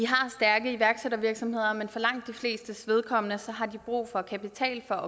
har stærke iværksættervirksomheder men for langt de flestes vedkommende har de brug for kapital for